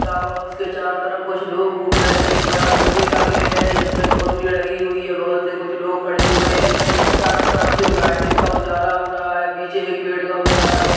रखा हुआ उसके चारों तरफ कुछ लोग घूम रहे है। एक बड़ा लोहे का गेट है जिसमें कुंडी लगी हुई है बगल से कुछ लोग खड़े हुए है। चारों तरफ से वो लाइटिंग का उजाला हो रहा है। पीछे एक पेड़ का उजाला हो --